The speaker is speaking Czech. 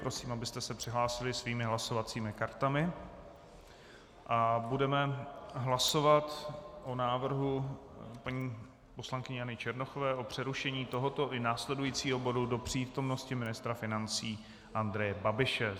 Prosím, abyste se přihlásili svými hlasovacími kartami, a budeme hlasovat o návrhu paní poslankyně Jany Černochové o přerušení tohoto i následujícího bodu do přítomnosti ministra financí Andreje Babiše.